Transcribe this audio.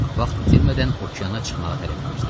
Vaxt itirmədən okeana çıxmağı tələb eləyirdi.